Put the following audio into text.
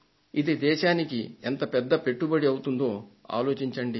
ఇది దేశానికి ఎంత పెద్ద పెట్టుబడి అవుతుందో ఆలోచించండి